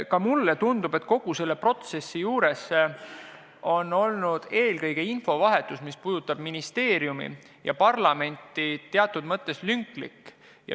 Ka mulle tundub, et kogu selle protsessi juures on olnud infovahetus ministeeriumi ja parlamendi vahel teatud mõttes lünklik.